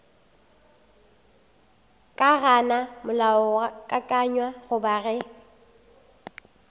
ka gana molaokakanywa goba ge